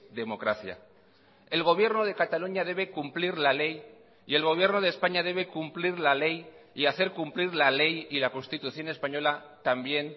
democracia el gobierno de cataluña debe cumplir la ley y el gobierno de españa debe cumplir la ley y hacer cumplir la ley y la constitución española también